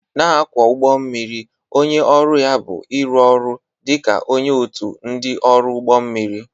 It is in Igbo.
Na-akwọ ụgbọ mmiri onye ọrụ ya bụ ịrụ ọrụ dị ka onye otu ndị ọrụ ụgbọ mmiri.